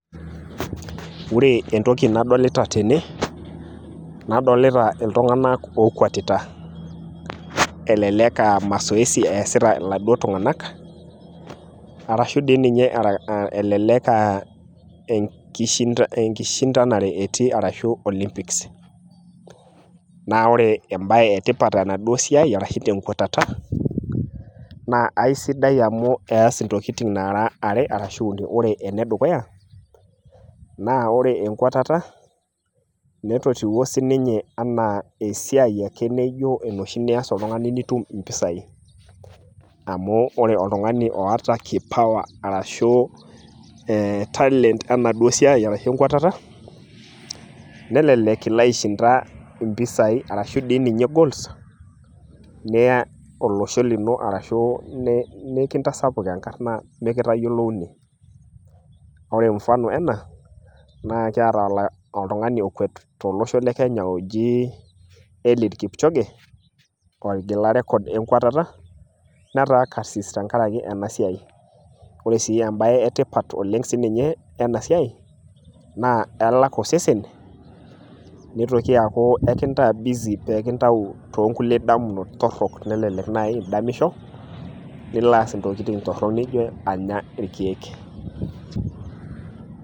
ore entoki nadolita tene, nadolita iltunganak ookwetita, lelek aa masoesi easita iladii tunganak arashu elelek aa enishindanare etii ashu Olympics, naa ore ebae etipat tenadu siai ashu tenkwatata ,naa aisidai amu eas intokitin are aashu uni, ore ene dukuya ore nkwatata, netotiwuo sii ninye anaa esiai ake naijo enoshi nias oltungani nitum imoisai, amu ore oltungani oota kipawa arashu e talent enaduo siai arshu enkwatata, nelelk ilo aishinda impisai, arashu dii ninye golds niya olosho lino arashu nikintasapuk enkarna mikitayiloouni, ore mufano ena na kiata oltungani ookkwet tolosho le kenya eliud kipchoge, otigila recor enkwetata, netaa karsis tenkaraki ena siai, ore sii ebae etipat oleng tenkaraki ena siai, naa ekintaa busy nikintayu tookulie damunot, elelek naaji idamisho, nilo aas intokitin torok naijo anya irkeek.